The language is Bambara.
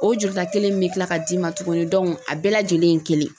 O juruta kelen in bɛ kila ka d'i ma tuguni a bɛɛ lajɛlen ye kelen ye.